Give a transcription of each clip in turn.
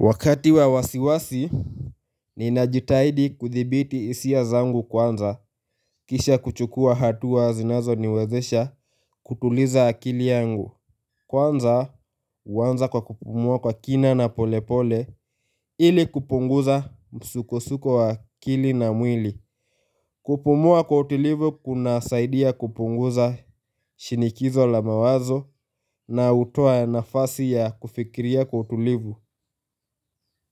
Wakati wa wasiwasi, ninajitahidi kuthibiti hisia zangu kwanza, kisha kuchukua hatua zinazo niwezesha kutuliza akili yangu. Kwanza, huanza kwa kupumua kwa kina na polepole ili kupunguza msukosuko wa akili na mwili. Kupumua kwa utulivu kunasaidia kupunguza shinikizo la mawazo na hutoa nafasi ya kufikiria kwa utulivu.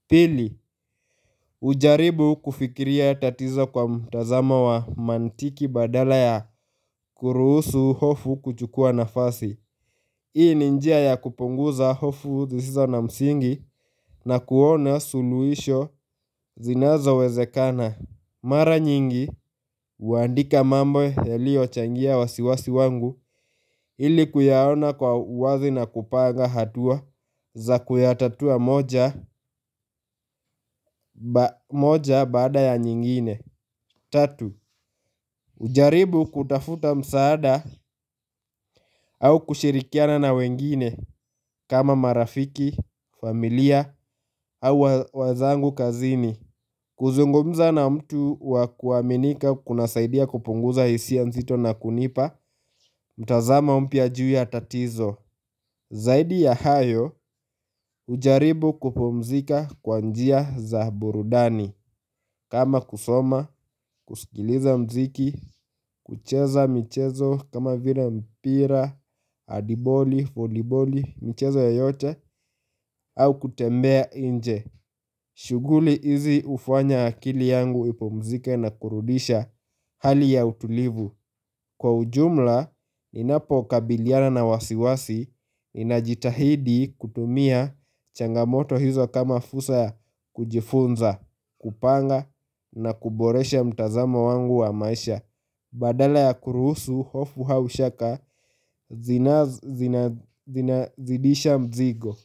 Pili.hujaribu kufikiria tatizo kwa mtazamo wa mantiki badala ya kuruhusu hofu kuchukua nafasi Hii ni njia ya kupunguza hofu zisizo na msingi na kuona suluhisho zinazowezekana Mara nyingi, huandika mambo yaliochangia wasiwasi wangu ili kuyaona kwa wazi na kupanga hatua za kuyatatua moja bada ya nyingine Tatu, hujaribu kutafuta msaada au kushirikiana na wengine kama marafiki, familia au wenzangu kazini kuzungumza na mtu wa kuaminika kunasaidia kupunguza hisia nzito na kunipa, mtazamo mpya juu ya tatizo Zaidi ya hayo, hujaribu kupumzika kwa njia za burudani kama kusoma, kusikiliza mziki, kucheza michezo kama vile mpira, handiboli, voliboli, mchezo yoyote au kutembea nje shughuli hizi hufanya akili yangu ipumzike na kurudisha hali ya utulivu Kwa ujumla, ninapokabiliana na wasiwasi, ninajitahidi kutumia changamoto hizo kama fursa ya kujifunza, kupanga na kuboresha mtazamo wangu wa maisha Badala ya kuruhusu, hofu au shaka, zinazidisha mzigo.